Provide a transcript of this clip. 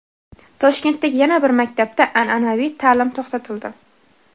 Toshkentdagi yana bir maktabda an’anaviy ta’lim to‘xtatildi.